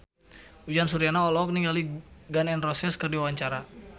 Uyan Suryana olohok ningali Gun N Roses keur diwawancara